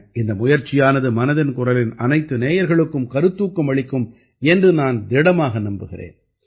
இந்த முயற்சியானது மனதின் குரலின் அனைத்து நேயர்களுக்கும் கருத்தூக்கம் அளிக்கும் என்று நான் திடமாக நம்புகிறேன்